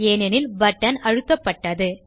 ஏனெனில் பட்டன் அழுத்தப்பட்டது